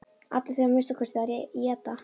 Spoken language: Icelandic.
Allir þurfa að minnsta kosti að éta.